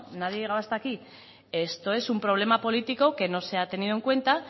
nadie ha llegado hasta aquí esto es un problema político que no se ha tenido en cuenta